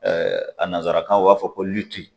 a nansarakan na u b'a fɔ ko